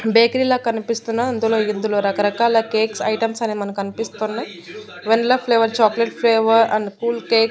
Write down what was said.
bakery లా కనిపిస్తున్న అందులో ఇందులో రకరకాల కేక్స్ ఐటమ్స్ అనేవి మనకు కన్పిస్తూన్నాయి vanilla flavour chocolate flavour and cool cake --